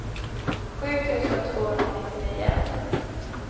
sju tusen tvåhundranittionio